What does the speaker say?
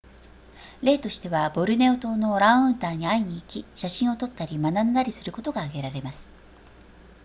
例としてはボルネオ島のオランウータンに会いに行き写真を撮ったり学んだりすることが挙げられます